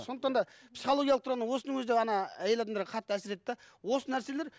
сондықтан да психологиялық тұрғыдан осының өзі де әйел адамдарға қатты әсер етеді де осы нәрселер